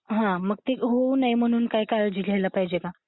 मग ते होऊ नये म्हणून काय काळजी घ्यायला पाहिजे?